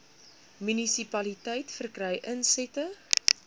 munisipaliteit verkry insette